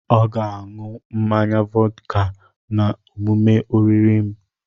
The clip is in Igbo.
Ọ ga a ṅụọ mmanya vọdka na omume oriri m.